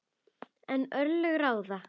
En örlög ráða.